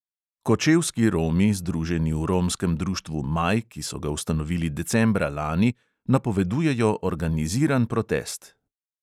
Kočevski romi, združeni v romskem društvu maj, ki so ga ustanovili decembra lani, napovedujejo organiziran protest.